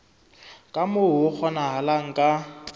ka moo ho kgonahalang ka